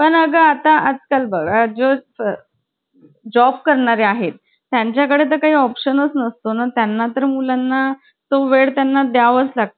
पण आता आजकाल बघा जो job करणार आहेत त्यांच्याकडे काही option नसतो ना त्यांना तर मुलांना तो वेळ त्यांना द्यावेच लागतात